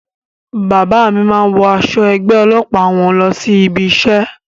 Bàbá mí máa ń wọ aṣọ ẹgbẹ́ ọlọ́pàá wọn lọ sí ibi isẹ́